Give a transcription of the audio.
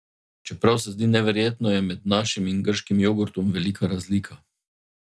Čeprav se zdi neverjetno, je med našim in grškim jogurtom velika razlika.